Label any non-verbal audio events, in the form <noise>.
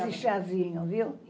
<unintelligible> chazinho, viu?